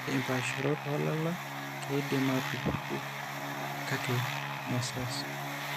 Ore impaasharot oolala keidim aatupuku kakemesesh.